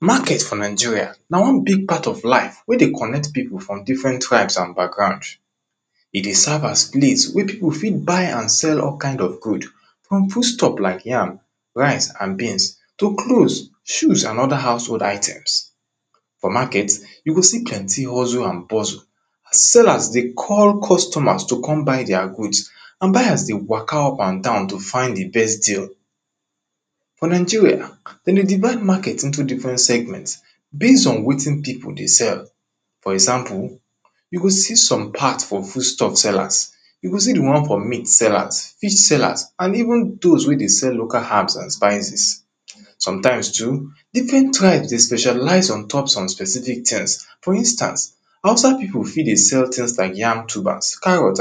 marhet for nageria na wan big part of life wey dey connet pipu from different trabes and background. dey serve as place wey pipu fi buy and sell all kinds of good like rice, beans to cloth, shoes and other food items for market, you go see plenty hustle and puzle as sellers dey call customers to come buy their goods and buyer dey waka up and down to see di best deal. for ningeria, de dey divide for into segment, base o wetin pipu dey sell. for example, you go ee some part for food stuff sellers, e go see di won for fish sellers, meat sellers and even those wey dey sell spices. sometimes too, different tribes dey specialize or touch some specific tins for instance hausa pipu fit dey sell tuber, yams or carrot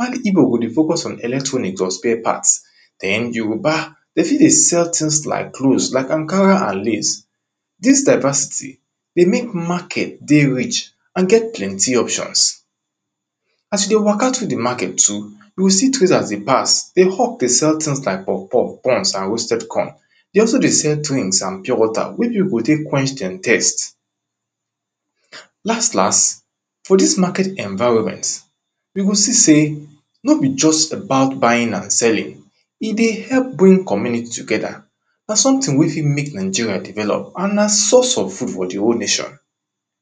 if igbo go dey focus on electronics or spare parts, yoruba e fit dey sell tins like cloth like ankara ans lace e mek market dey rich, and get plenty options. as you dey waka through di market, you go see trders dey hawk dey sell tins tins like popof and roasted corn and pure water wey pipu go tek quench their taste. las las, for dis market enviroment, we go see sey no bi about buying an selling, e dey help bring community together but sometin wey fit mek nigeria develop and na sometine for di whole nation.